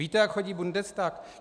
Víte, jak chodí Bundestag?